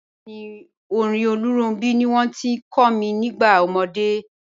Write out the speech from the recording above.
Bẹẹ̀ni, orin Olóòrun ní wọn ti kò mi nígbà omọdé.